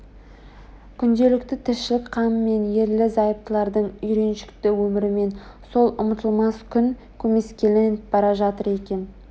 күнделікті тіршілік қамымен ерлі-зайыптылардың үйреншікті өмірімен сол ұмытылмас күн көмескіленіп бара жатыр екен